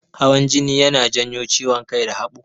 Hawan jini yana janyo ciwon kai da haɓo.